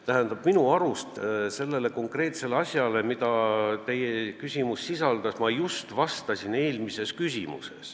Tähendab, minu arust ma sellele just vastasin, kui eelmine küsimus oli.